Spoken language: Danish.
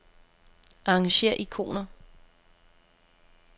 Arrangér ikoner.